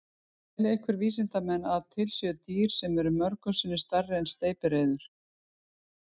Telja einhverjir vísindamenn að til sé dýr sem er mörgum sinnum stærra en steypireyður?